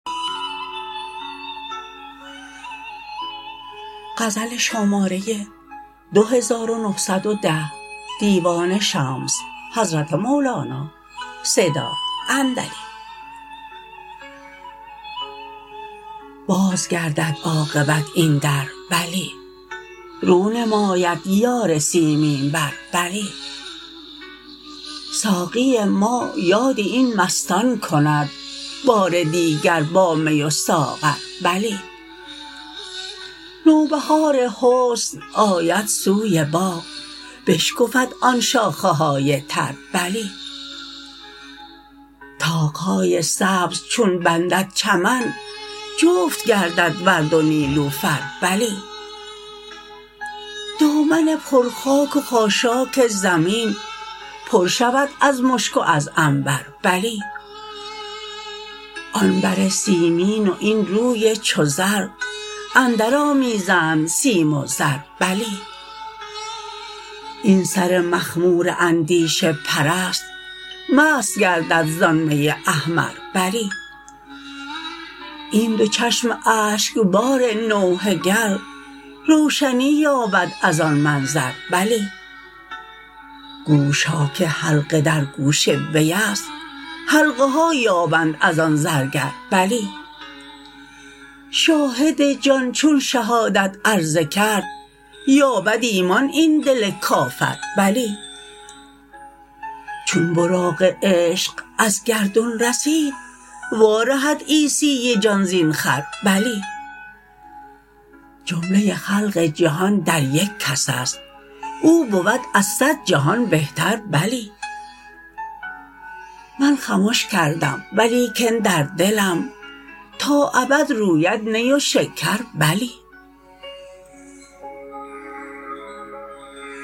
باز گردد عاقبت این در بلی رو نماید یار سیمین بر بلی ساقی ما یاد این مستان کند بار دیگر با می و ساغر بلی نوبهار حسن آید سوی باغ بشکفد آن شاخه های تر بلی طاق های سبز چون بندد چمن جفت گردد ورد و نیلوفر بلی دامن پر خاک و خاشاک زمین پر شود از مشک و از عنبر بلی آن بر سیمین و این روی چو زر اندرآمیزند سیم و زر بلی این سر مخمور اندیشه پرست مست گردد زان می احمر بلی این دو چشم اشکبار نوحه گر روشنی یابد از آن منظر بلی گوش ها که حلقه در گوش وی است حلقه ها یابند از آن زرگر بلی شاهد جان چون شهادت عرضه کرد یابد ایمان این دل کافر بلی چون براق عشق از گردون رسید وارهد عیسی جان زین خر بلی جمله خلق جهان در یک کس است او بود از صد جهان بهتر بلی من خمش کردم و لیکن در دلم تا ابد روید نی و شکر بلی